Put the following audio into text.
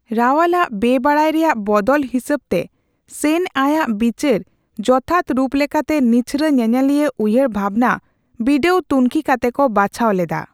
ᱨᱟᱳᱞᱟᱜ ᱵᱮᱵᱟᱰᱟᱭ ᱨᱮᱭᱟᱜ ᱵᱚᱫᱚᱞ ᱦᱤᱥᱟᱹᱵᱛᱮ, ᱥᱮᱱ ᱟᱭᱟᱜ ᱵᱤᱪᱟᱹᱨ ᱡᱚᱛᱷᱟᱛ ᱨᱩᱯ ᱞᱮᱠᱟᱛᱮ ᱱᱤᱪᱷᱚᱨᱟ ᱧᱮᱧᱮᱞᱤᱭᱟᱹ ᱩᱭᱦᱟᱹᱨ ᱵᱷᱟᱵᱽᱱᱟ ᱵᱤᱰᱟᱹᱣᱼᱛᱩᱱᱠᱷᱤ ᱠᱟᱛᱮ ᱠᱚ ᱵᱟᱪᱷᱟᱣ ᱞᱮᱫᱟ ᱾